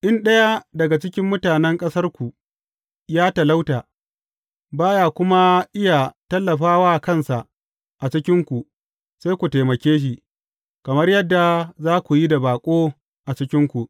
In ɗaya daga ciki mutanen ƙasarku ya talauta, ba ya kuma iya tallafa wa kansa a cikinku, sai ku taimake shi kamar yadda za ku yi da baƙo a cikinku.